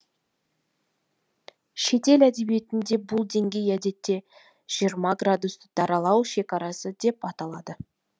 шетел әдебиетінде бұл деңгей әдетте жиырма градусты даралау шекарасы деп аталады